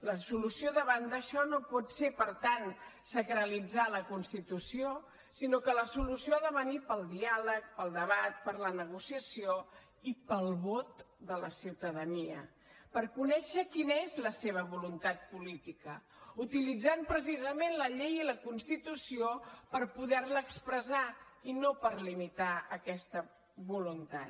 la solució davant d’això no pot ser per tant sacralitzar la constitució sinó que la solució ha de venir pel diàleg pel debat per la negociació i pel vot de la ciutadania per conèixer quina és la seva voluntat política utilitzant precisament la llei i la constitució per poder la expressar i no per limitar aquesta voluntat